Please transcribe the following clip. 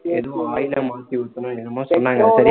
ஏதோ oil அ மாத்தி ஊத்தணும் என்னமோ சொன்னாங்க எனக்கு தெரியல